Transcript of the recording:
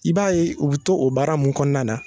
I b'a ye u bI to o baara mun kɔɔna na